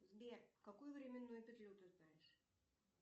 сбер какую временную петлю ты знаешь